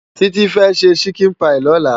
Titi fe ṣè ṣikin páyi lòlá